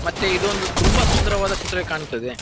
ಮತ್ತೆ ಇದು ಒಂದು ತುಂಬಾ ಸುಂದರವಾದ ಚಿತ್ರ ಕಾಣ್ತಾ ಇದೆ.